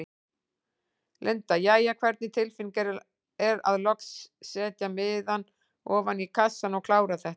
Linda: Jæja, hvernig tilfinning er að loks setja miðann ofan í kassann og klára þetta?